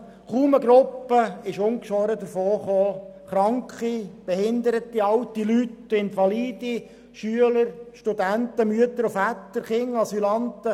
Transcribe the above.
Es kam kaum eine Gruppe ungeschoren davon – Kranke, Behinderte, alte Leute, Invalide, Schüler, Studenten, Mütter und Väter, Kinder und Asylanten.